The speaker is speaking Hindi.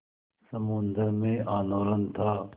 समुद्र में आंदोलन था